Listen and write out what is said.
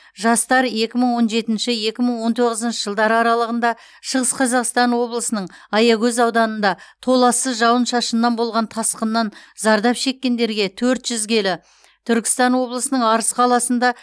жастар екі мың он жетінші екі мың он тоғызыншы жылдары аралығында шығыс қазақстан облысының аягөз ауданында толассыз жауын шашыннан болған тасқыннан зардап шеккендерге төрт жүз келі түркістан облысының арыс қаласында